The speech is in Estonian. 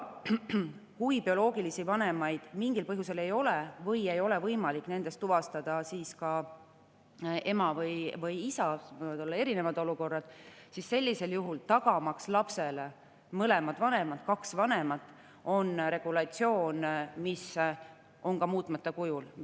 Kui bioloogilisi vanemaid mingil põhjusel ei ole või ei ole võimalik tuvastada ema või isa – siin võivad olla erinevad olukorrad –, siis sellisel juhul, tagamaks lapsele mõlemad vanemad, kaks vanemat, on selleks regulatsioon, mis on siin toodud muutmata kujul.